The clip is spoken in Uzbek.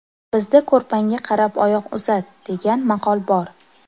Bizda ‘ko‘rpangga qarab oyoq uzat’, degan maqol bor.